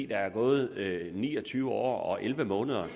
der er gået ni og tyve år og elleve måneder